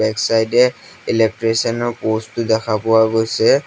Back side এ electrician ৰ post টো দেখা পোৱা গৈছে।